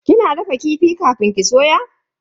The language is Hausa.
Kina dafa kifi kafin ki soya?